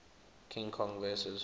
king kong vs